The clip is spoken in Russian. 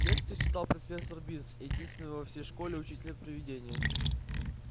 лекции читал профессор бинс единственный во всей школе учитель-привидения